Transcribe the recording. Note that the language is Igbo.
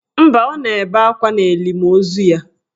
Mba, o na-ebe akwa n'elimo ozu ya.